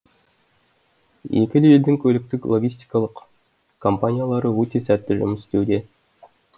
екі де елдің көліктік логистикалық компаниялары өте сәтті жұмыс істеуде